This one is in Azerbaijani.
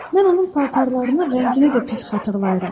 Mən onun paltarlarını rəngini də pis xatırlayıram.